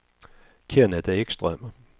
Kennet Ekström